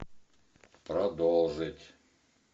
продолжить